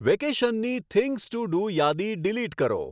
વેકેશનની things to do યાદી delete કરો